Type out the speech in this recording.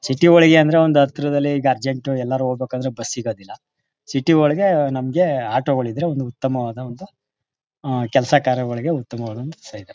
City ಒಳೆಗೆ ಅಂದ್ರೆ ಹತ್ರದಲ್ಲೇ ಅರ್ಜೆಂಟ್ ಎಲ್ಲಾದ್ರು ಹೋಗಬೇಕಾದ್ರೆ ಬಸ್ ಸಿಗದಿಲ್ಲ. ಸಿಟಿ ಒಳಗೆ ನಮ್ಮ ಆಟೋ ಗಳು ಇದ್ರೆ ಒಂದು ಉತ್ತಮವಾದ ಒಂದು ಆ ಕೆಲಸ ಕಾರ್ಯಗಳಿಗೆ ಉತ್ತಮವಾದ ಸೇವೆ.